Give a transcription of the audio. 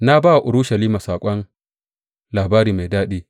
Na ba wa Urushalima saƙon labari mai daɗi.